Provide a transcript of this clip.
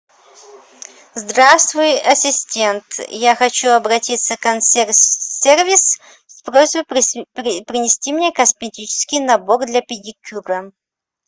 здравствуй ассистент я хочу обратиться в консьерж сервис с просьбой принести мне косметический набор для педикюра